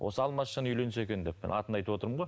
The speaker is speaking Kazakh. осы алмасжан үйленсе екен деп мен атын айтып отырмын ғой